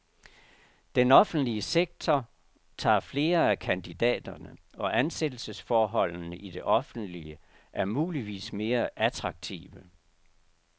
Den offentlige sektor tager flere af kandidaterne, og ansættelsesforholdene i det offentlige er muligvis mere attraktive.